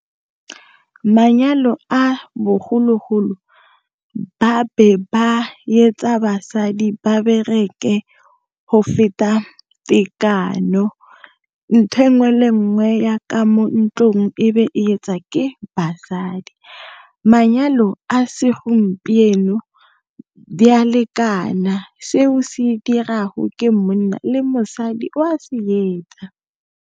Manyalo a bogologolo, ba be ba etsa basadi ba bereke go feta tekano. ntho enngwe le enngwe ya ka mo ntlong, e be e etsa ke basadi. Manyalo a segompieno, di ya lekana seo se dirago ke monna le mosadi o a se etsa.